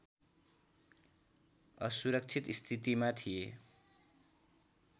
असुरक्षित स्थितिमा थिए